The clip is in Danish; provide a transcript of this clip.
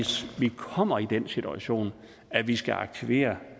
kommer i den situation at vi skal aktivere